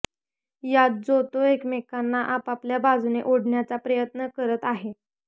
यात जो तो एकमेकांना आपापल्या बाजूने ओढण्याचा प्रयत्न करत आहे